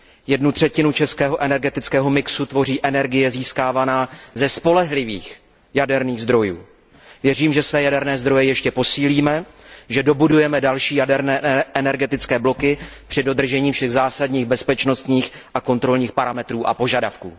Jednu třetinu českého energetického mixu tvoří energie získávaná ze spolehlivých jaderných zdrojů. Věřím, že své jaderné zdroje ještě posílíme, že dobudujeme další jaderné energetické bloky při dodržení všech zásadních bezpečnostních a kontrolních parametrů a požadavků.